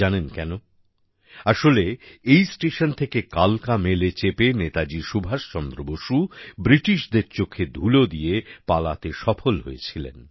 জানেন কেন আসলে এই স্টেশন থেকেই কালকা মেলে চেপে নেতাজি সুভাষচন্দ্র বসু ব্রিটিশদের চোখে ধুলো দিয়ে পালাতে সফল হয়েছিলেন